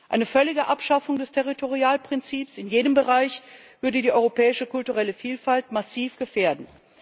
Eine völlige Abschaffung des Territorialprinzips in jedem Bereich würde die europäische kulturelle Vielfalt massiv gefährden.